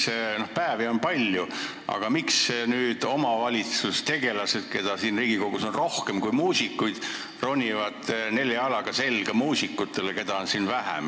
Seleta maakeeles ära, miks nüüd omavalitsustegelased, keda siin Riigikogus on rohkem kui muusikuid, ronivad nelja jalaga selga muusikutele, keda on siin vähem.